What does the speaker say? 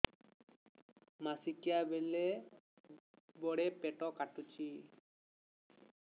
ମାସିକିଆ ବେଳେ ବଡେ ପେଟ କାଟୁଚି